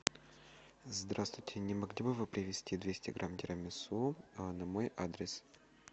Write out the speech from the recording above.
здравствуйте не могли бы вы привезти двести грамм тирамису на мой адрес